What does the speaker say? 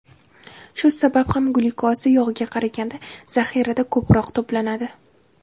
Shu sabab ham glyukoza yog‘ga qaraganda zaxirada ko‘proq to‘planadi.